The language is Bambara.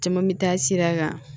Caman mi taa sira kan